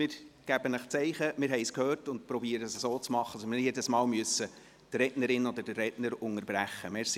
Wir geben Ihnen ein Zeichen, dass wir es gehört haben, und versuchen es so zu machen, dass wir nicht jedes Mal die Rednerin oder den Redner unterbrechen müssen.